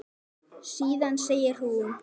Síðan segir hún